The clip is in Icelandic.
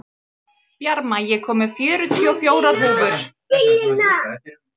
Bjarma, ég kom með fjörutíu og fjórar húfur!